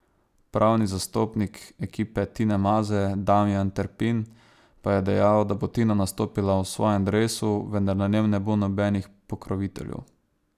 Pravni zastopnik ekipe Tine Maze Damijan Terpin pa je dejal, da bo Tina nastopila v svojem dresu, vendar na njem ne bo nobenih pokroviteljev.